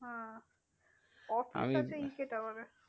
হ্যাঁ office আছে ই কে টাওয়ারে।